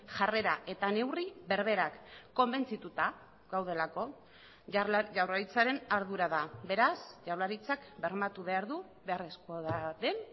jarrera eta neurri berberak konbentzituta gaudelako jaurlaritzaren ardura da beraz jaurlaritzak bermatu behar du beharrezkoa den